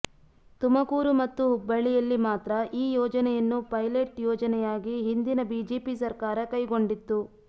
ತುಮಕೂರು ಮತ್ತು ಹುಬ್ಬಳ್ಳಿಯಲ್ಲಿ ಮಾತ್ರ ಈ ಯೋಜನೆಯನ್ನು ಪೈಲೈಟ್ ಯೋಜನೆಯಾಗಿ ಹಿಂದಿನ ಬಿಜೆಪಿ ಸರ್ಕಾರ ಕೈಗೊಂಡಿತ್ತು